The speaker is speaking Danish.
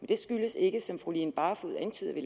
det skyldes ikke som fru line barfod antyder at vi